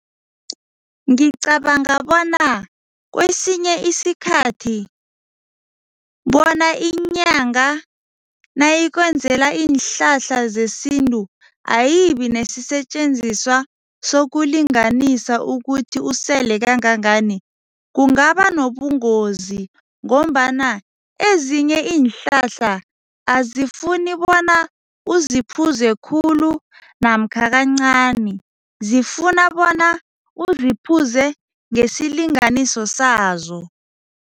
Ngicabanga bona kwesinye isikhathi bona inyanga nayikwenzela iinhlahla zesintu, ayibi nesisetjenziswa sokulinganisa ukuthi usele kangangani. Kungaba nobungozi ngombana ezinye iinhlahla azifuni bona uziphuze khulu namkha kancani, zifuna bona uziphuze ngesilinganiso sazo.